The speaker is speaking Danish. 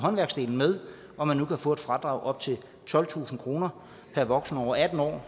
med og at man nu kan få et fradrag op til tolvtusind kroner per voksen over atten år